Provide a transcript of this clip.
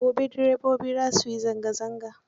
Gobe direbobi za su yi zanga zanga.